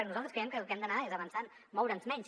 i nosaltres creiem que el que hem d’anar és avançant moure’ns menys